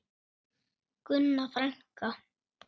Gunna frænka.